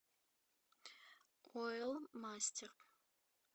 ойл мастер